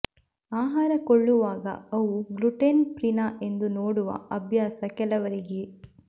ಆಹಾರ ಕೊಳ್ಳುವಾಗ ಅವು ಗ್ಲುಟೆನ್ ಫ್ರೀನಾ ಎಂದು ನೋಡುವ ಅಭ್ಯಾಸ ಕೆಲವರಿಗೆ